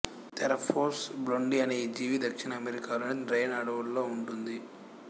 Theraphosa blondi అనే ఈ జీవి దక్షిణ అమెరికా లోని రైన్ ఆడవులలో ఉంటుంది